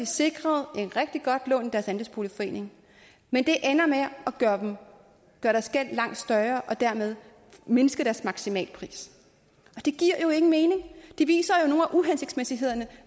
sikret et rigtig godt lån i deres andelsboligforening men det ender med at gøre deres gæld langt større og dermed mindske deres maksimalpris det giver jo ingen mening det viser af uhensigtsmæssighederne